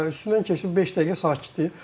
Üstündən keçdi beş dəqiqə sakitlik.